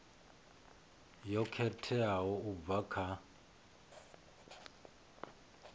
yo khetheaho u bva kha